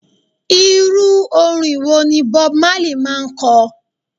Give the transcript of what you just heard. Irú orin wo ni bob marley máa ń ko?